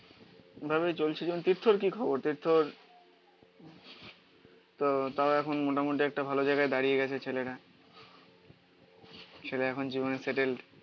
ভাবে চলছি যখন তীর্থর কি খবর? তীর্থর তো তাও এখন মোটামুটি একটা ভালো জায়গায় দাঁড়িয়ে গেছে ছেলেরা ছেলে এখন জীবনে স্যাটেল্ড